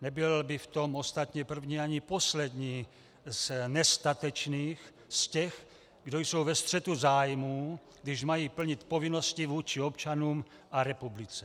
Nebyl by v tom ostatně první ani poslední z nestatečných, z těch, kdo jsou ve střetu zájmů, když mají plnit povinnosti vůči občanům a republice.